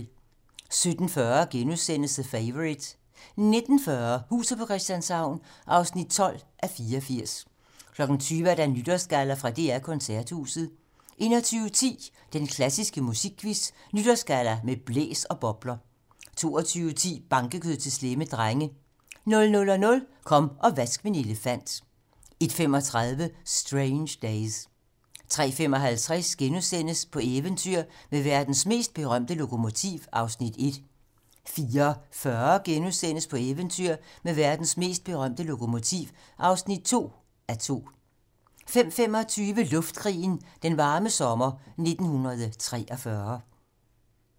17:40: The Favourite * 19:40: Huset på Christianshavn (12:84) 20:00: Nytårsgalla fra DR Koncerthuset 21:10: Den klassiske musikquiz - Nytårsgalla - med blæs og bobler 22:10: Bankekød til slemme drenge 00:00: Kom og vask min elefant 01:35: Strange Days 03:55: På eventyr med verdens mest berømte lokomotiv (1:2)* 04:40: På eventyr med verdens mest berømte lokomotiv (2:2)* 05:25: Luftkrigen - Den varme sommer 1943